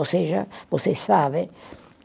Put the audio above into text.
Ou seja, você sabe